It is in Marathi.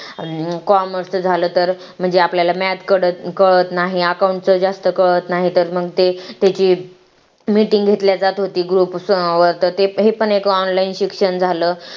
commerce झालं तर म्हणजे आपल्याला math कळत नाही account च जास्त कळत नाही तर मग ते त्यांची meeting घेतली जातं होती group तर हे पण online शिक्षण झालं